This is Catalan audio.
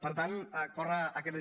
per tant corre aquest risc